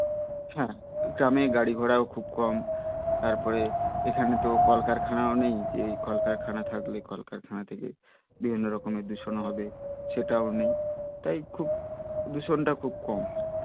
হ্যা গ্রামের গাড়ি ঘোড়াও খুবই কম তারপরে এখানে তো কলকারখানাও তো নেই যে কলকারখানা থাকলে বিভিন্ন রকম দূষণ ও হবে সেটাও নেই তাই খুব দূষণ টা খুব কম